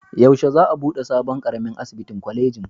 Yaushe za a buɗe sabon ƙaramin asibitin kwalejin?